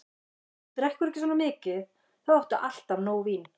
Ef þú drekkur ekki svona mikið, þá áttu alltaf nóg vín.